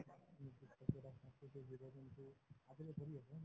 যোগেদি এইটো আছো